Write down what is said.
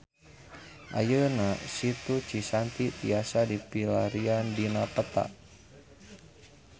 Ayeuna Situ Cisanti tiasa dipilarian dina peta